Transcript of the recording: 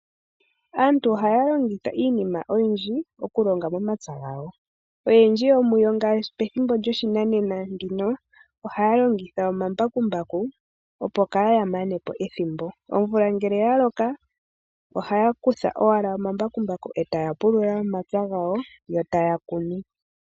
Aantu ohaya longitha iinima oyindji okulonga momapya gawo, oyendji yomuyo ngashi pethimbo lyoshinanena ndino ohaya longitha omambakumbaku opo kaaya manepo ethimbo. Omvula ngele ya loka ohaya kutha wala omambakumbaku etaya pulula omapya gawo eta ya kunu.